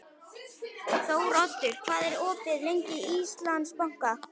Þóroddur, hvað er opið lengi í Íslandsbanka?